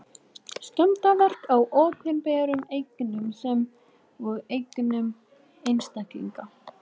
Skemmdarverk á opinberum eignum sem og eignum einstaklinga.